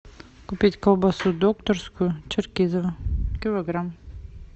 купить колбасу докторскую черкизово килограмм